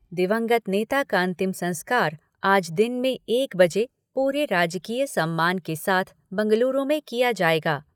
दिवंगत नेता का अंतिम संस्कार आज दिन में एक बजे पूरे राजकीय सम्मान के साथ बंगलुरु में किया जाएगा।